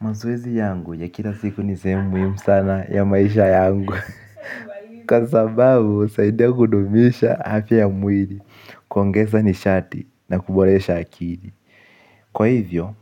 Mazoezi yangu ya kila siku ni sehemu muhimu sana ya maisha yangu. Kwa sababu husaidia kudumisha afya ya mwiri kuongesa nishati na kuboresha akili. Kwa hivyo,